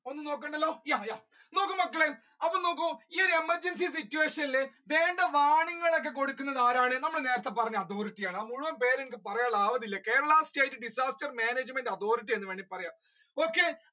ഒന്നും നോക്കണ്ടല്ലോ yeah yeah നോക്കു മക്കളെ അപ്പൊ നോക്കൂ ഈ ഒരു emergency situation നേരത്തെ ഒക്കെ കൊടുക്കുന്നത് ആരാണ്? നമ്മൾ നേരത്തെ പറഞ്ഞ അതോറിറ്റി ആണ് മുഴുവൻ പേര് പറയാൻ ആവതില്ല Kerala state disaster management authority എന്ന് വേണമെങ്കിൽ പറയാം okay